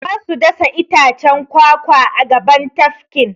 Za su dasa itacen kwakwa a gaban tafkin.